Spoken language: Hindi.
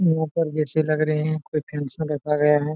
यहाँ पर जैसे लग रहे है कोई फंक्शन रखा गया है।